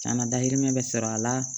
Kana dahirimɛ bɛ sɔrɔ a la